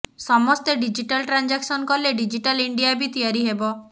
ସମସ୍ତେ digital transaction କଲେ digital India ବି ତିଆରି ହେବ